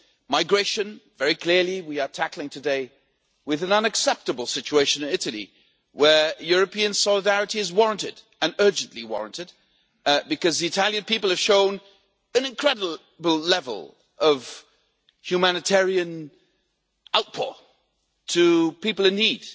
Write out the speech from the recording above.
Migration very clearly, we are tackling today what is an unacceptable situation in Italy, and European solidarity is warranted. And urgently warranted, because the Italian people have shown an incredible level of humanitarian outreach to people in need,